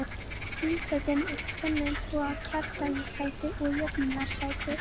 Þingsætin eru af tvennum toga, kjördæmissæti og jöfnunarsæti.